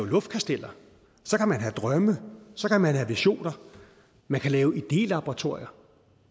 luftkasteller så kan man have drømme så kan man have visioner man kan lave idélaboratorier